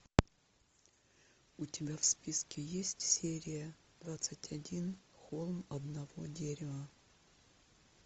у тебя в списке есть серия двадцать один холм одного дерева